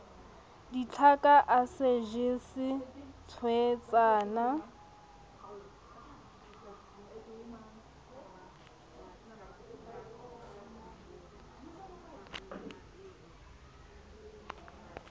ditjaka a sa jese thweetsana